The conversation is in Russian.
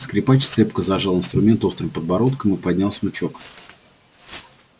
скрипач цепко зажал инструмент острым подбородком и поднял смычок